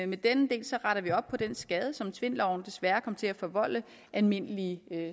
med denne del retter vi op på den skade som tvindloven desværre kom til at forvolde almindelige